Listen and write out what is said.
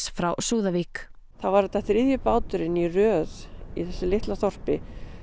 frá Súðavík þá var þetta þriðji báturinn í röð í þessu litla þorpi